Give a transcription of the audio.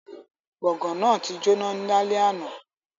Gbongan náà ti jona lale ana